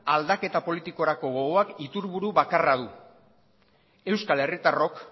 aldaketa politikorako gogoak iturburu bakarra du euskal herritarrok